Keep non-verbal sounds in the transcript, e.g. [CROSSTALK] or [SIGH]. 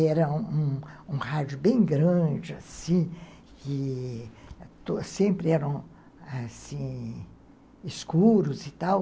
Era um um rádio bem grande, assim, que [UNINTELLIGIBLE] sempre eram, assim... escuros e tal.